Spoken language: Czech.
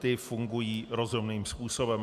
Ty fungují rozumným způsobem.